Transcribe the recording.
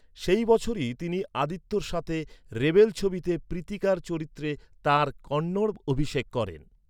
সেই বছরই তিনি আদিত্যর সাথে রেবেল ছবিতে প্রীতিকার চরিত্রে তাঁর কন্নড় অভিষেক করেন।